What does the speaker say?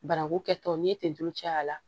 Banaku kɛtɔ n'i ye ten tulu caya a la